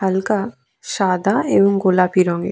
হালকা সাদা এবং গোলাপি রঙের।